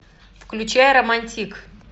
включай романтик